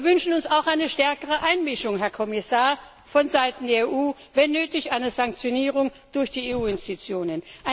Wir wünschen uns auch eine stärkere Einmischung, Herr Kommissar, von Seiten der EU, wenn nötig eine Sanktionierung durch die EU Institutionen.